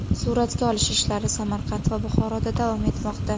Suratga olish ishlari Samarqand va Buxoroda davom etmoqda.